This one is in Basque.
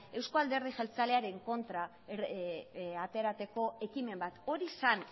eusko alderdi jeltzalearen kontra ateratako ekimen bat hori zen